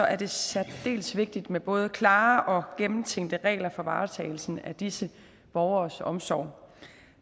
er det særdeles vigtigt med både klare og gennemtænkte regler for varetagelsen af disse borgeres omsorg